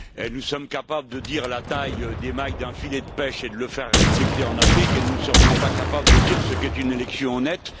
Nous sommes capables de dire la taille des mailles d'un filet de pêche et de la faire respecter en Afrique et nous ne serions pas capables de dire ce qu'est une élection honnête?